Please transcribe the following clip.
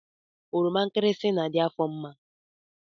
Oroma nkirisi na-adị afọ mma